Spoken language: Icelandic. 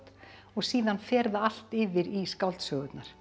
og síðan fer það allt yfir í skáldsögurnar